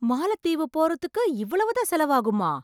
மாலத்தீவு போறதுக்கு இவ்வளவு தான் செலவாகுமா!